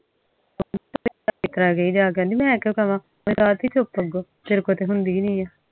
ਕਹਿੰਦੀ ਮੈਂ ਕਿਉ ਕਾਵਾਂ ਮੈਂ ਕ੍ਰਾਂਤੀ ਚੁੱਪ ਤੇਰੇ ਤੋਂ ਤਾ ਹੁੰਦੇ ਏ ਨੀ ਆ